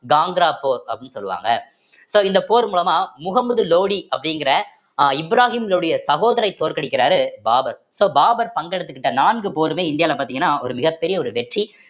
காங்கரா போர் அப்படின்னு சொல்லுவாங்க so இந்த போர் மூலமா முகமது லோடி அப்படிங்கிற அஹ் இப்ராஹிமினுடைய சகோதரரை தோற்கடிக்கிறாரு பாபர் so பாபர் பங்கெடுத்துக்கிட்ட நான்கு போருமே இந்தியால பார்த்தீங்கன்னா ஒரு மிகப்பெரிய ஒரு வெற்றி